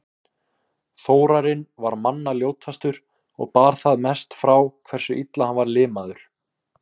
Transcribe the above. Þórarinn var manna ljótastur og bar það mest frá hversu illa hann var limaður.